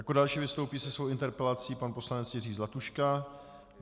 Jako další vystoupí se svou interpelací pan poslanec Jiří Zlatuška.